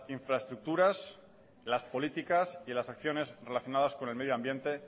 infraestructuras las políticas y las acciones relacionadas con el medioambiente